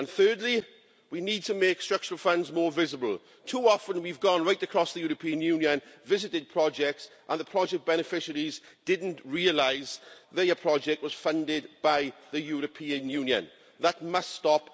And thirdly, we need to make structural funds more visible. Too often we've gone right across the European Union, visited projects and the project beneficiaries didn't realise their project was funded by the European Union. That must stop.